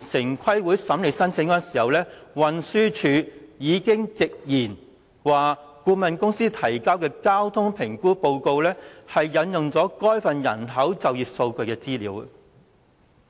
城規會審理該項申請時，運輸署已經直言顧問公司提交的交通評估報告引用了該份人口及就業數據資料。